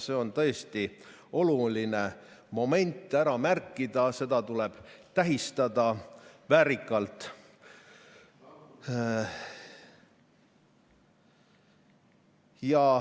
See on tõesti oluline moment ära märkida ja seda tuleb tähistada väärikalt.